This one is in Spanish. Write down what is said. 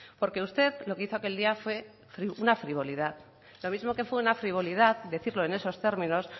porque usted lo que hizo aquel día fue una frivolidad lo mismo que fue una frivolidad decirlo en esos términos